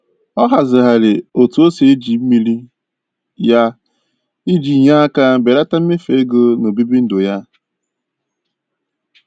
Ọ hazịghari otu o si eji mmiri ya iji nye aka belata mmefu ego n'obibi ndụ ya.